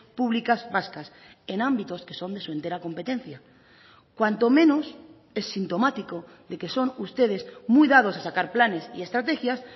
públicas vascas en ámbitos que son de su entera competencia cuanto menos es sintomático de que son ustedes muy dados a sacar planes y estrategias